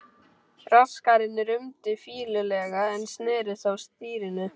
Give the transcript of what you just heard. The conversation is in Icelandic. Braskarinn rumdi fýlulega en sneri þó stýrinu.